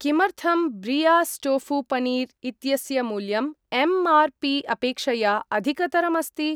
किमर्थं ब्रियास् टोफु पन्नीर् इत्यस्य मूल्यम् एम्.आर्.पी. अपेक्षया अधिकतरम् अस्ति?